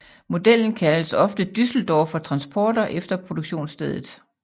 Modellen kaldes ofte Düsseldorfer Transporter efter produktionsstedet